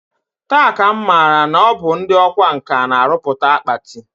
Taa ka m matara na ọ bụ ndị ọkwa nkà na-arụpụta akpati